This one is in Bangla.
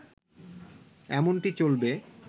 এমনটি চলবে